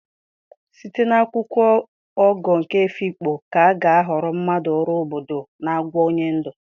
Site na akwụkwọ Ogo nke Efikpo ka a ga-ahọrọ maka ọrụ obodo na àgwà onye ndu.